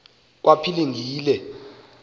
kwaphilingile